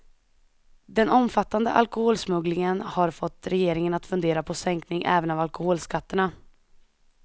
Den omfattande alkoholsmugglingen har fått regeringen att fundera på sänkning även av alkoholskatterna.